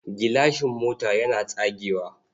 Gilashin mota yana tsagewa.